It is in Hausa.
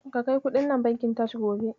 Ka kai kuɗin nan bankin Taj gobe.